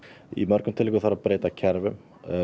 í mörgum tilvikum þarf að breyta kerfum